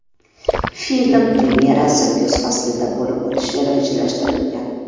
Film premyerasi kuz faslida bo‘lib o‘tishi rejalashtirilgan.